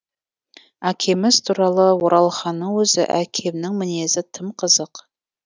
әкеміз туралы оралханның өзі әкемнің мінезі тым қызық